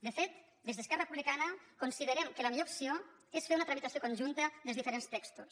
de fet des d’esquerra re·publicana considerem que la millor opció és fer una tramitació conjunta dels diferents textos